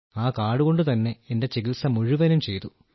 ആ കാർഡ് കൊണ്ടുതന്നെ എന്റെ ചികിത്സ മുഴുവനും ചെയ്തു